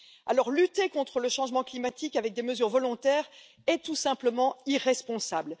Alors, lutter contre le changement climatique avec des mesures volontaires est tout simplement irresponsable.